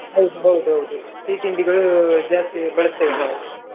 ಹೌದು ಹೌದು ಹೌದು ಸಿಹಿ ತಿಂಡಿಗಳು ಜಾಸ್ತಿ ಬಳಸ್ತೇವೆ ನಾವು.